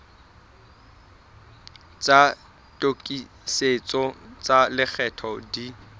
tsa tokisetso tsa lekgetho di